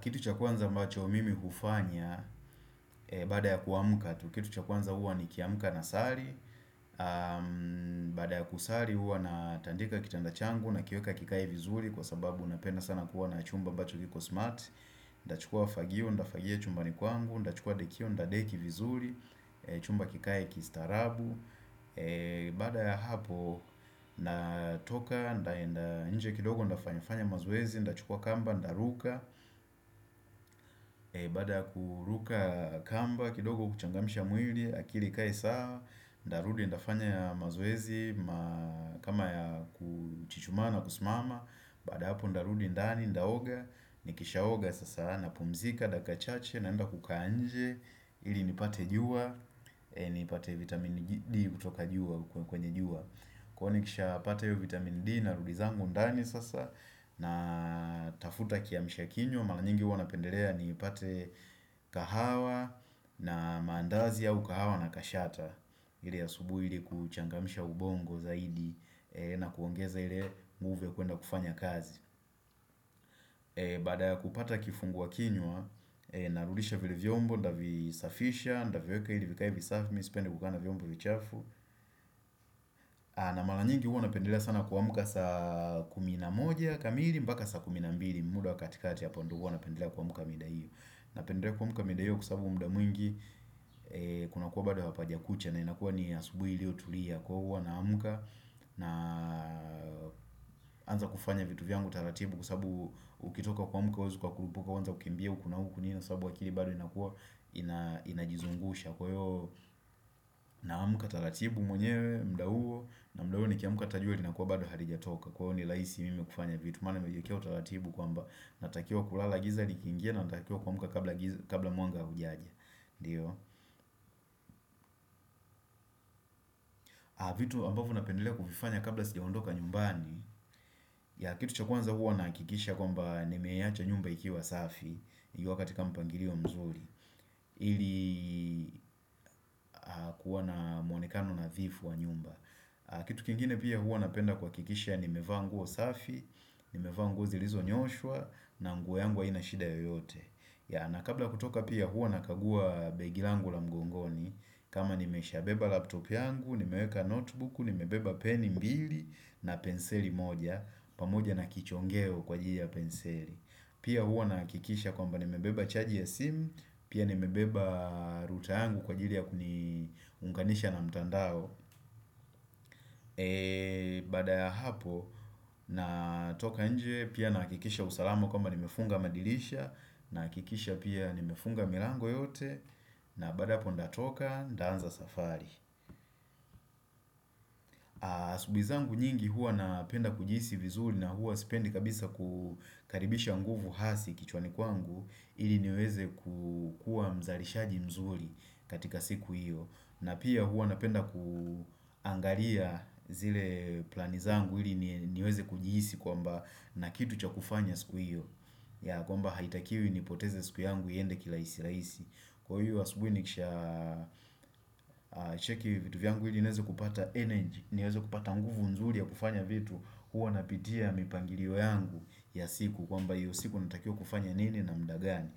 Kitu cha kwanza ambacho mimi hufanya baada ya kuamuka tu, kitu cha kwanza huwa ni kiamuka na sali Baada ya kusali huwa natandika kitanda changu na kiweka kikae vizuri kwa sababu napenda sana kuwa na chumba ambacho kiko smart Nda chukua fagio, ndafagia chumbani kwangu, ndachukua dekio, nda deki vizuri, chumba kikae kistaarabu Baada ya hapo natoka, ndaenda nje kidogo ndafanyafanya mazoezi, nda chukua kamba, nda ruka Baada kuruka kamba kidogo kuchangamsha mwili akili ikae sawa Ndarudi ndafanya mazoezi kama ya kuchichumaa na kusimama Baada hapo ndarudi ndani ndaoga Nikishaoga sasa napumzika dakika chache naenda kukaa nje ili nipate jua nipate vitamin D kutoka jua Kwa nikisha pata hiyo vitamin D Narudi zangu ndani sasa na tafuta kiamshakinywa Malanyingi huwa napendelea ni ipate kahawa na maandazi au kahawa na kashata ile ya asubui ili kuchangamisha ubongo zaidi na kuongeza ile nguvu kuenda kufanya kazi Bada kupata kifungua kinywa, narudisha vile vyombo, ndavisafisha, ndaviweka ili vika hivisafi Mi sipendi kukaa na vyombo vichafu na maranyingi huwa napendelea sana kuamuka saa kumi na moja kamili, mbaka saa kumi na mbili muda wa katikati hapo ndo huwa napendelea kuamuka mida hiyo Napendelea kuamuka mida hiyo kwa sababu muda mwingi kuna kuwa bado hapaja kucha na inakuwa ni asubui ilio tulia kwa huwa naamuka naanza kufanya vitu vyangu taratibu kwa sababu ukitoka kuamuka uwezi uka kurupuka uwanze kimbia huku na huku ni na sababu akili bado inakuwa inajizungusha kwa hivo naamuka taratibu mwenyewe muda huo na muda huo nikiamuka hata jua linakuwa bado halijatoka kwa huwa ni laisi mimi kufanya vitu maana nimejiekea taratibu kwamba natakiwa kulala giza likiingia natakiwa kuamuka kabla mwanga haujaja, ndiyo vitu ambavo napendelea kuvifanya kabla sijaondoka nyumbani ya kitu cha kuanza huwa naakikisha kwamba nimeiacha nyumba ikiwa safi Iwa katika mpangilio mzuri ili kuwa na mwonekano nadhifu wa nyumba Kitu kingine pia huwa napenda kuhakikisha Nimevaa nguo safi, nimevaa nguo zilizo nyoshwa na nguo yangu aina shida yoyote ya na kabla kutoka pia huwa na kagua begi langu la mgongoni kama nimesha beba laptop yangu Nimeweka notebook, nimebeba pen mbili na penseli moja pamoja na kichongeo kwa jili ya penseli Pia huwa nahakikisha kwamba nimebeba chaji ya simu Pia nimebeba router yangu kwa ajili ya kuniunganisha na mtandao Baada ya hapo natoka nje Pia naakikisha usalama kwamba nimefunga madirisha naakikisha pia nimefunga milango yote na baada hapo ndatoka danza safari Asubui zangu nyingi huwa napenda kujiisi vizuri na huwa sipendi kabisa kukaribisha nguvu hasi kichwani kwangu ili niweze kukua mzalishaji mzuri katika siku hiyo na pia huwa napenda kuangalia zile plani zangu ili niweze kujiisi kwamba na kitu cha kufanya siku hiyo ya kwamba haitakiwi nipoteze siku yangu iyende kilaisi laisi. Kwa hiyo asubuhi ni kisha cheki vitu vyangu ili nieze kupata energy nieze kupata nguvu nzuri ya kufanya vitu huwa napitia mipangilio yangu ya siku kwamba hiyo siku natakiwa kufanya nini na mudagani